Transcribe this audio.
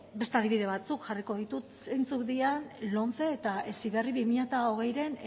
beste adibide batzuk jarriko ditut zeintzuk diren lomce eta heziberri bi mila hogeiren